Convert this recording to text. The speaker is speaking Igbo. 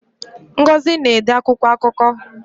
Ngozi na-ede akwụkwọ akụkọ.